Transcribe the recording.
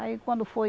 Aí quando foi...